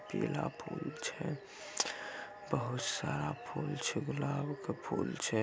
पीला फूल छै बहुत सारा फूल छै गुलाब के फूल छै।